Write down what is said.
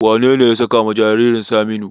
Wanene ya sakawa jaririn Saminu?